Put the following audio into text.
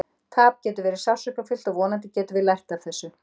Tap getur verið sársaukafullt og vonandi getum við lært af þessu.